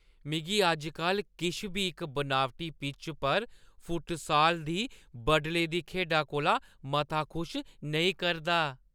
मिगी अज्ज-कल किश बी इक बनावटी पिच्चा पर फुटसाल दी बडले दी खेढा कोला मता खुश नेईं करदा।